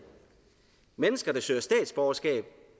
mennesker der søger statsborgerskab